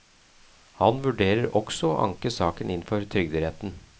Han vurderer også å anke saken inn for trygderetten.